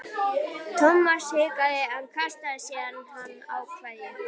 Thomas hikaði en kastaði síðan á hann kveðju.